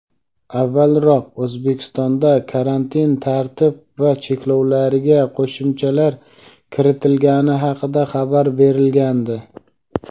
Avvalroq O‘zbekistonda karantin tartib va cheklovlariga qo‘shimchalar kiritilgani haqida xabar berilgandi.